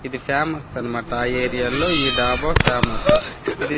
ఇది ఫేమస్ అనమాట ఆ ఏరియాల్లో ఈ డాబా ఫేమస్సు ఇది--